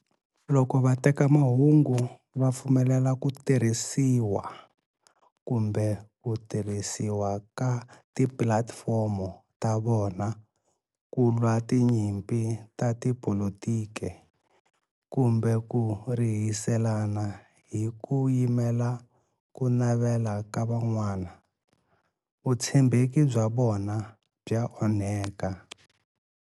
Loko vatekamahungu va pfumelela ku tirhisiwa kumbe ku tirhisiwa ka tipulatifomo ta vona ku lwa tinyimpi ta tipolitiki kumbe ku rihiselana hi ku yimela ku navela ka van'wana, vutshembeki bya vona bya onhaka.